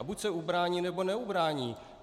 A buď se ubrání, nebo neubrání.